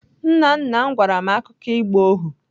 Nna nna m gwara m akụkọ ịgba ohu.